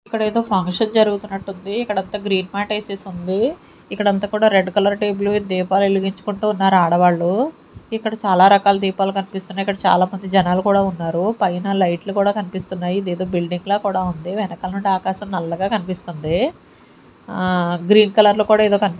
ఇక్కడేదో ఫంక్షన్ జరుగుతున్నట్టుంది ఇక్కడంతా గ్రీన్ మ్యాట్ యేసేసుంది ఇక్కడంత కూడా రెడ్ కలర్ టేబుల్ మీద దీపాలు వెలిగించుకుంటున్నారు ఆడవాళ్లు ఇక్కడ చాలా రకాల దీపాలు కన్పిస్తున్నాయి ఇక్కడ చాలామంది జనాలు కూడా ఉన్నారు పైన లైట్లు కూడా కన్పిస్తున్నాయి ఇదేదో బిల్డింగ్ లా కూడా ఉంది వెనకాల నుండి ఆకాశం నల్లగా కన్పిస్తుంది ఆ గ్రీన్ కలర్ లో కూడా ఏదో కన్--